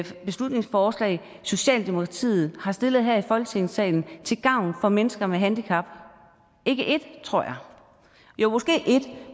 beslutningsforslag socialdemokratiet har stillet her i folketingssalen til gavn for mennesker med handicap ikke et tror jeg jo måske et